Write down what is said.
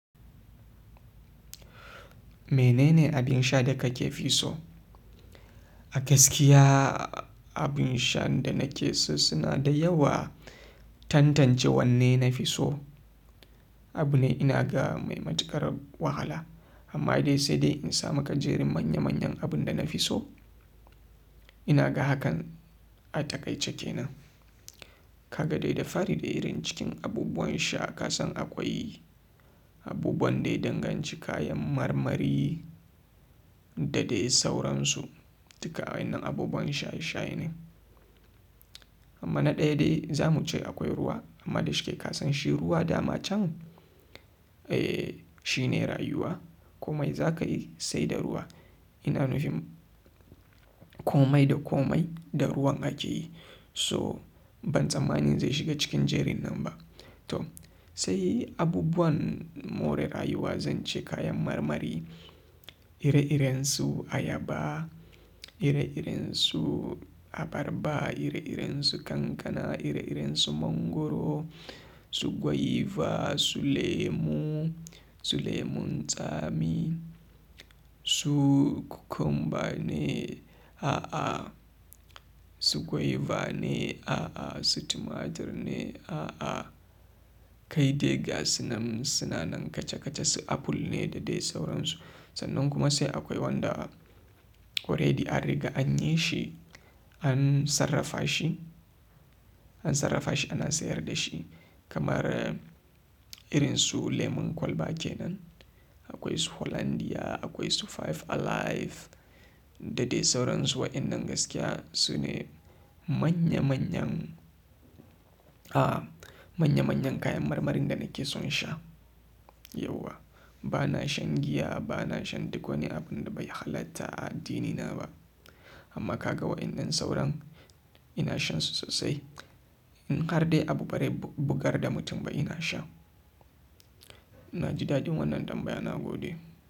Menene abin sha da kake fi so? A gaskiya abin shan da nake so suna da yawa. Tantance wanne na fi so abu ne ina ga mai matuƙar wahala. Amma dai sai dai in samaka jerin manya manyan abun da na fi so ina ga hakan a takaice kenan. Kaga dai da fari da irin cikin abubuwan sha ka san akwai abubuwan daya danganci kayan marmari da dai sauransu. Duka wa'innan abubuwan sha sha ne. Amma na ɗaya dai za muce akwai ruwa amma da shike ka san shi ruwa dama can eh shine rayuwa. Komai za ka yi sai da ruwa. Ina nufin komai da komai da ruwan ake yi. So ban tsammanin zai shiga cikin jerin nan ba to sai abubuwan more rayuwa zance kayan marmari ire irensu ayaba, ire irensu abarba, ire irensu kankana, ire irensu mangoro, su gwaiva, su lemu, su lemon tsami, su cucumber ne a'a, su gwaiva ne a'a, su tumatur ne a'a. Kai dai ga su nan suna nan kaca kaca su apple ne da dai sauransu. Sannan kuma sai akwai wanda Already an riga anyi shi an sarrafa shi, an sarrafa shi ana sayar dashi, kamar irin su lemon kwalba kenan. Akwai su hollandia, akwai su five alive da dai sauransu. Wa'innan gaskiya su ne manya manyan a manya manyan kayan marmarin da nake son sha yauwa. Bana shan giya, bana shan duk wani abun da bai halatta a addinina ba. Amma ka ga wa'innan sauran ina shansu sosai. In har dai abu barai bugar da mutum ba ina sha. Na ji daɗin wannan tambaya na gode.